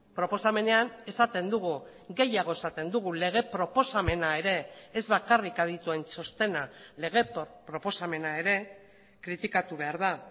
proposamenean esaten dugu gehiago esaten dugu lege proposamena ere ez bakarrik adituen txostena lege proposamena ere kritikatu behar da